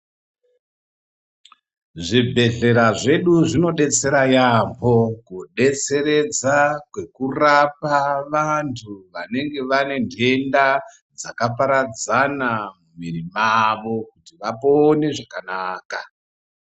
Zvibhedhlera zvedu zvinodetsera yaambo kudetseredza kwekurapa vantu anenge vanenhenda dzakaparana mumwiri mavo kuti vapone zvakanaka.